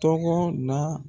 Tɔgɔ na